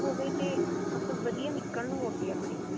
ਹੋਵੇ ਤੇ ਵਧੀਆ ਨਿੱਕਲਣ ਉਹ ਅੱਗੇ ਆਪਣੇ